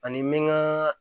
Ani n bɛ n ka